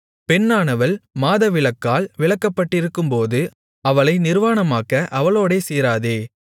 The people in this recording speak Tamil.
பெண்ணானவள் மாதவிலக்கால் விலக்கப்பட்டிருக்கும்போது அவளை நிர்வாணமாக்க அவளோடே சேராதே